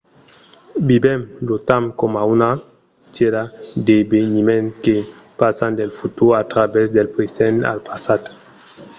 vivèm lo temps coma una tièra d’eveniments que passan del futur a travèrs del present al passat